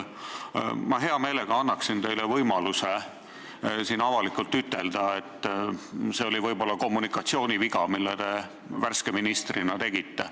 Ma hea meelega annan teile võimaluse siin avalikult ütelda, et see oli kommunikatsiooniviga, mille te värske ministrina tegite.